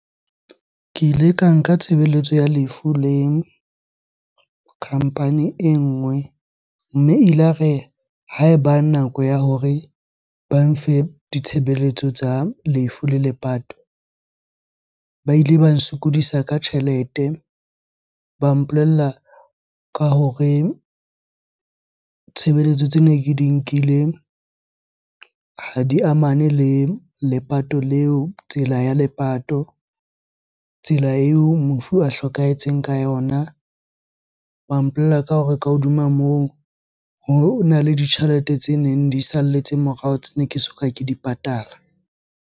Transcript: Ke ile ka nka tshebeletso ya lefu le company e nngwe. Mme elare ha eba nako ya hore ba mfe ditshebeletso tsa lefu la lepato, ba ile ba nsokodisa ka tjhelete, ba mpolella ka hore tshebeletso tsene ke di nkile ha di amane le lepato leo, tsela ya lepato, tsela eo mofu a hlokahetseng ka yona. Ba mpolella ka hore ka hodima moo, hona le ditjhelete tseneng di salletse morao, tsene ke soka ke di patala.